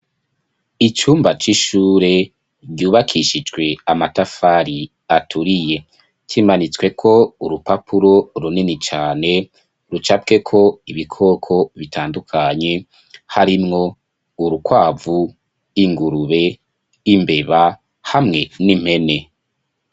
Icumba c'ishure ryubakishijwe amatafari aturiye cimanitswe ko urupapuro runini cane rucabweko ibikoko bitandukanye harimwo urukwavu ingurube imbeba hamwe n'impene.